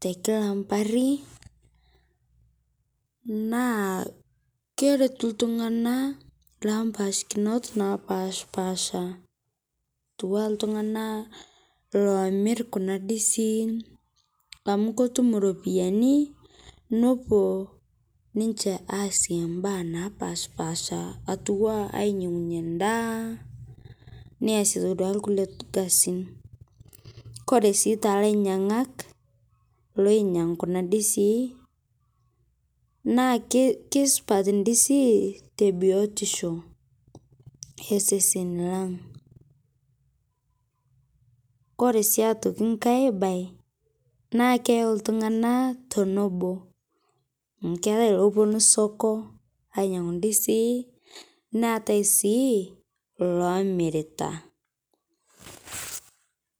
te kila mpaari naa keretuu ltung'ana la mpashikinot napaspasha touwa ltung'ana loo amiir kuna ndisiin amu kotuum ropiani nopoo ninchee aasie baya napaspasha atua ainyeng'unye ndaa neasie duake lkulee kasiin. Kore sii te lainyang'ak loinyang' kuna ndisii naa kesupaat ndisii te biotisho esesen lang'. Kore sii atokii nkai bayi naa keiyau ltung'ana tonobo, amu keyau loponuu soko ainyang'u ndisii neata sii lomiirita.